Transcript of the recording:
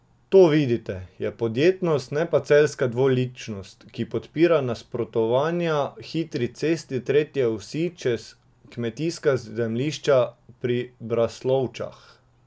To, vidite, je podjetnost, ne pa celjska dvoličnost, ki podpira nasprotovanja hitri cesti tretje osi čez kmetijska zemljišča pri Braslovčah.